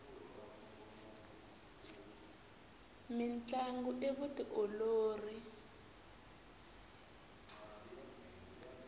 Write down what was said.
mintlangu i vutiolori